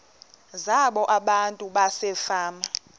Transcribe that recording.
zabo abantu basefama